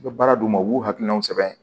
U bɛ baara d'u ma u b'u hakilinaw sɛbɛn